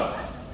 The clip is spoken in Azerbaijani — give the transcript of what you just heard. Sağ!